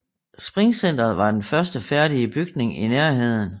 Springcenteret var den første færdige bygning i Nærheden